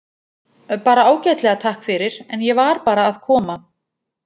Bara ágætlega, takk fyrir, en ég var bara að koma.